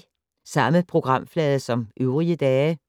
Samme programflade som øvrige dage